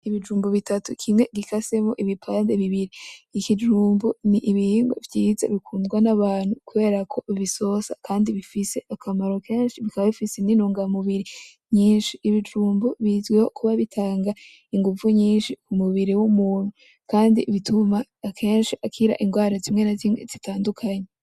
Ibijumbu bitatu kimwe gikasemwo ibipande bibiri. Ikijumbu ni ibingwa vyiza bikundwa n’abantu kubera ko bisosa kandi bifise akamaro kenshi bikaba bifise n’intungamubiri nyinshi. Ibijumbu bizwiho kuba bitanga inguvu nyinshi ku mubiri w'umuntu kandi bituma akenshi akira ingwara zimwe na zimwe zitandukanye.